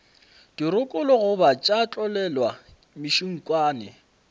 dirokolo goba tša tlolelwa mešunkwane